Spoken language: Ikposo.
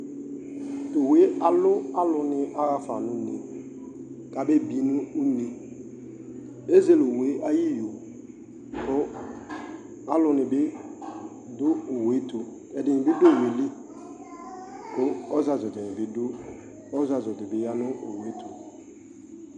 Tʋ owu yɛ alʋ alʋnɩ yaɣa fa une kʋ abebi nʋ une Ezele owu yɛ ayʋ iyo kʋ alʋnɩ bɩ dʋ owu yɛ tʋ, ɛdɩnɩ bɩ dʋ owu yɛ li kʋ ɔzazʋ dɩnɩ bɩ dʋ, ɔzazʋ dɩ bɩ ya nʋ owu yɛ tʋ